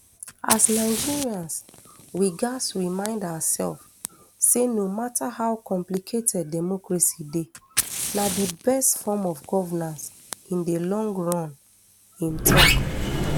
as nigerians we gatz remind oursef say no mata how complicated democracy dey na di best form of governance in di long run im tok